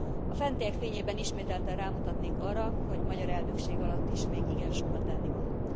A fentiek fényében ismételten rámutatnék arra, hogy magyar elnökség alatt is még igen sok a tennivaló.